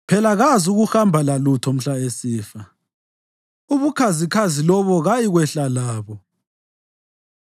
phela kazukuhamba lalutho mhla esifa, ubukhazikhazi lobo kayikwehla labo.